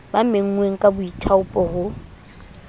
ba menngweng ka boithaopo ho